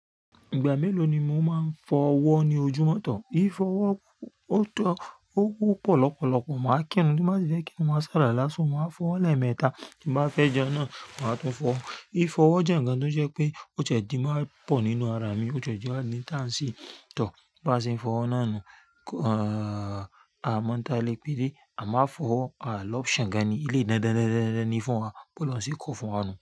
Ìgbà mélòó ni mo máa ń fọ ọwọ́ ní ojúmọ́tọ̀? Í fo ọwọ́ tó o pọ̀ lọpọlọpọ̀, màá kírun, tí n bá sì fẹ́ kírun má ṣaku ala, màá fọwọ́ lẹ́mẹ́ta. Bí màá fẹ́ jẹun náà, màá tún fọ. Í fo ọwọ́ jẹ́ ǹkan tó jẹ́ pé òti e je dimo pọ̀ nínú ara mi, oti e ti wa le ya. Sí tọ̀ bí a ṣe ń fọ ọwọ́ náà nu. Àmọ́ n tale péde, à má n a fọ ọwọ́ a ni option gan ni eléyi dandan ni fún wa bí óloun ṣe kọ fún wa nu.